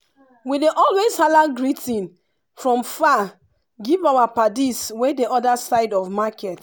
we dey always hala greeting from far give our paddies wey dey other side of market.